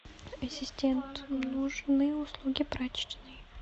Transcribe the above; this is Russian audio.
ассистент нужны услуги прачечной